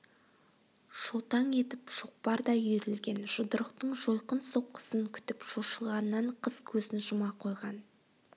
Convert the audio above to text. шолтаң етіп шоқпардай үйірілген жұдырықтың жойқын соққысын күтіп шошығаннан қыз көзін жұма қойған